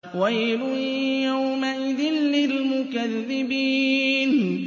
وَيْلٌ يَوْمَئِذٍ لِّلْمُكَذِّبِينَ